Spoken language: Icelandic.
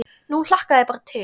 Nú hlakka ég bara til.